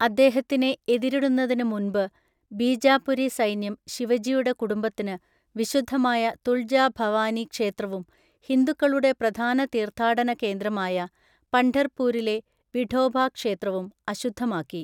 അദ്ദേഹത്തിനെ എതിരിടുന്നതിന് മുൻപ്, ബീജാപുരി സൈന്യം ശിവജിയുടെ കുടുംബത്തിന് വിശുദ്ധമായ തുൾജാ ഭവാനി ക്ഷേത്രവും ഹിന്ദുക്കളുടെ പ്രധാന തീർത്ഥാടന കേന്ദ്രമായ പണ്ഡർപൂരിലെ വിഠോബ ക്ഷേത്രവും അശുദ്ധമാക്കി.